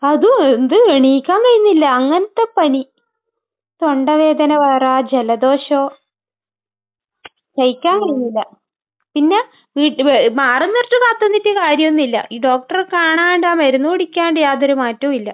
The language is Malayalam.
അതും എന്ത് എണീക്കാൻ കഴിയുന്നില്ല. അങ്ങനത്തെ പനി. തൊണ്ട വേദന വരുക, ജലദോഷം. സഹിക്കാൻ കഴിയൂല. പിന്നെ വീട്ട്...മാറുമെന്ന് വിചാരിച്ച് കാത്ത് നിന്നിട്ട് കാര്യമൊന്നുമില്ല. ഇത് ഡോക്ടറെ കാണാതെ ആ മരുന്ന് കുടിക്കാതെ യാതൊരു മാറ്റവുമില്ല.